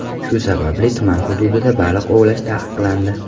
Shu sababli tuman hududida baliq ovlash taqiqlandi.